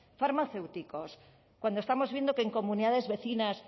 farmacéuticos cuando estamos viendo que en comunidades vecinas